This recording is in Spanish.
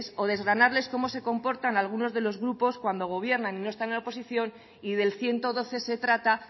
o desgranarles cómo se comportan algunos de los grupos cuando gobiernan y no están en la oposición y del ciento doce se trata